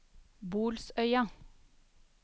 Bolsøya